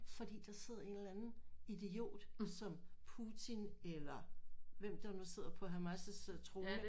Fordi der sidder en eller anden idiot som Putin eller hvem der nu sidder på Hamas' trone